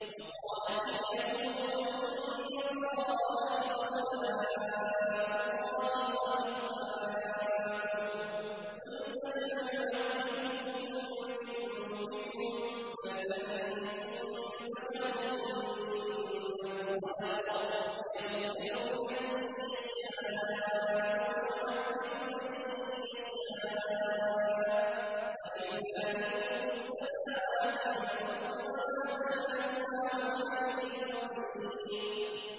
وَقَالَتِ الْيَهُودُ وَالنَّصَارَىٰ نَحْنُ أَبْنَاءُ اللَّهِ وَأَحِبَّاؤُهُ ۚ قُلْ فَلِمَ يُعَذِّبُكُم بِذُنُوبِكُم ۖ بَلْ أَنتُم بَشَرٌ مِّمَّنْ خَلَقَ ۚ يَغْفِرُ لِمَن يَشَاءُ وَيُعَذِّبُ مَن يَشَاءُ ۚ وَلِلَّهِ مُلْكُ السَّمَاوَاتِ وَالْأَرْضِ وَمَا بَيْنَهُمَا ۖ وَإِلَيْهِ الْمَصِيرُ